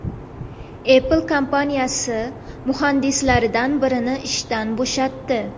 Apple kompaniyasi muhandislaridan birini ishdan bo‘shatdi.